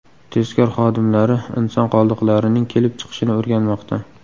Tezkor xodimlari inson qoldiqlarining kelib chiqishini o‘rganmoqda.